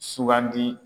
Sugandi